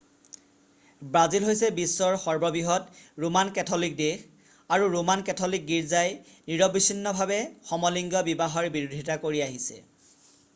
Brazil হৈছে বিশ্বৰ সৰ্ববৃহৎ ৰোমান কেথলিক দেশ আৰু ৰোমান কেথলিক গীৰ্জাই নিৰৱচ্ছিন্নভাৱে সমলিংগ বিবাহৰ বিৰোধিতা কৰি আহিছে